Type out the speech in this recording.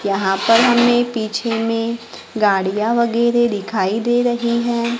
यहां पर हमें पीछे में गाड़ियां वगैरे दिखाई दे रहीं हैं।